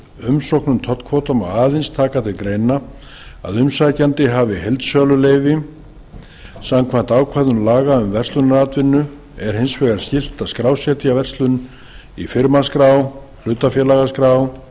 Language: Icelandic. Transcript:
umsókn um tollkvóta má aðeins taka til greina að umsækjandi hafi heildsöluleyfi samkvæmt ákvæðum laga um verslunaratvinnu er hins vegar skylt að skrásetja verslun í firmaskrá hlutafélagaskrá